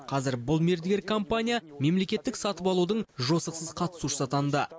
қазір бұл мердігер компания мемлекеттік сатып алудың жосықсыз қатысушысы атанды